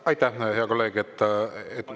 Aitäh, hea kolleeg!